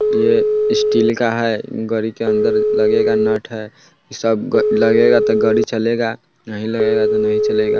ये स्टील का है गाड़ी के अंदर लगेगा नट है सब लगेगा तोह गाड़ी चलेगा नहीं लगेगा तो नहीं चलेगा।